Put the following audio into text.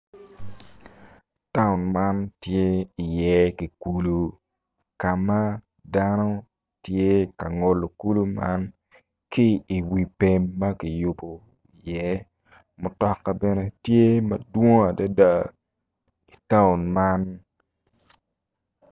Taun man tye iye ki kulu ka ma dano tye ka ngolo kulu man ki i wi pem ma ki yubu iye mutoka bene tye madwong adada i taun man